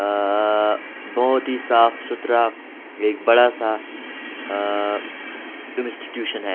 आ बहुत ही साफ-सुथरा एक बड़ा-सा आ इंस्टीट्यूशन है।